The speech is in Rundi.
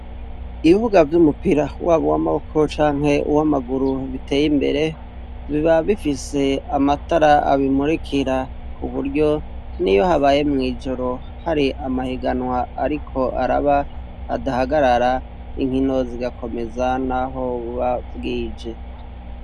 Ibibuga vy'umupira waba uw'amaboko canke uw'amaguru biteye imbere, biba bifise amatara abimurikira ,ku buryo niyo habaye mw' ijoro hari amahiganwa ariko araba, adahagarara inkino zigakomeza n'aho bubabwije.